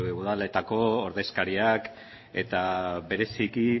udaletako ordezkariak eta bereziki